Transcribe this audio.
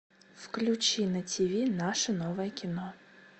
включи на тиви наше новое кино